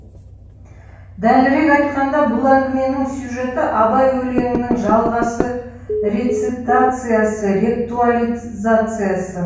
дәлірек айтқанда бұл әңгіменің сюжеті абай өлеңінің жалғасы рецитациясы реактуализациясы